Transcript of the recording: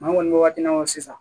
An kɔni bɛ waati min na sisan